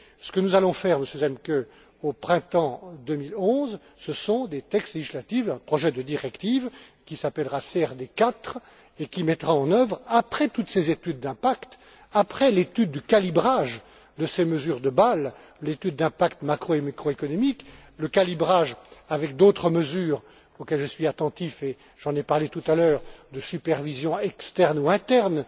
Ce que nous allons faire, Monsieur Zemke, au printemps 2011, ce sont des textes législatifs, un projet de directive, qui s'appellera CRD 4 et qui mettra en œuvre, après toutes ces études d'impact, après l'étude du calibrage de ces mesures de Bâle, l'étude d'impact macro et microéconomique, le calibrage avec d'autres mesures auxquelles je suis attentif et j'en ai parlé tout à l'heure de supervision externe ou interne,